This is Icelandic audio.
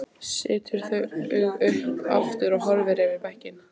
Setur þau upp aftur og horfir yfir bekkinn.